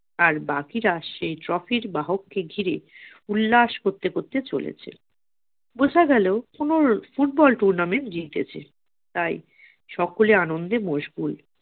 আর বাকিরা সেই trophy বাহক কে ঘিরে উল্লাস করতে করতে চলেছে । বোঝা গেল কোন ফুটবল tournament জিতেছে তাই সকলে আনন্দে মশগুল